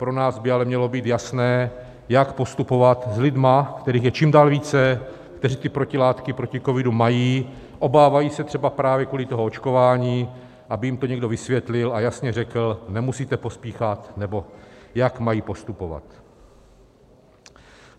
Pro nás by ale mělo být jasné, jak postupovat s lidmi, kterých je čím dál více, kteří ty protilátky proti covidu mají, obávají se třeba právě kvůli tomu očkování, aby jim to někdo vysvětlil a jasně řekl: Nemusíte pospíchat, nebo jak mají postupovat.